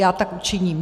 Já tak učiním.